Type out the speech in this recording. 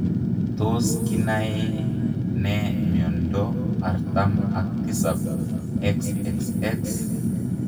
Tos kinae nee miondoo artam ak tisap XXX ?